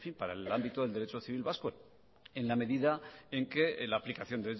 para el ámbito del derecho civil vasco en la medida en que la aplicación